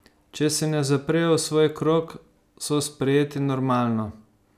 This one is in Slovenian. Če se ne zaprejo v svoj krog, so sprejeti normalno.